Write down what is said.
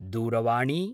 दूरवाणी